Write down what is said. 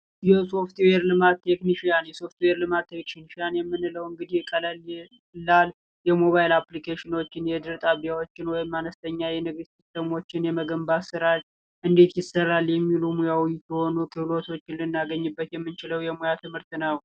የሶፍትዌር ልማት ቴክኒሽያን የሶፍትዌር ልማት ቴክኒሽያን የምንለው እንደ ሞባይል የአፕልኬሽን የቴሌቪዥን ጣቢያዎችን የተለያዩ ሲስተሞችን እንዴት መስራት እንዴት ይሰራል የሚሉ እውቀቶች ልናገኝበት የምንችለው የሙያ ትምህርት ነው።